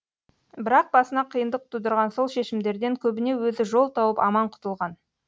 бірақ басына қиындық тудырған сол шешімдерден көбіне өзі жол тауып аман құтылған